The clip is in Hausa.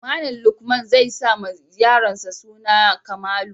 Malam haihu zai sa wa yaronsa suna Blessing